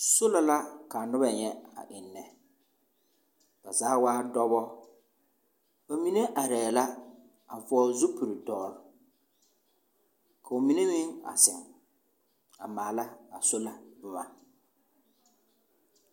Sola la kaa noba nyɛ a ennɛ. Ba zaa waa dɔbɔ! Ba mine arɛɛ la, a vɔgle zupil-dɔre, ka ba mine meŋ a zeŋ, a maala a sola boma.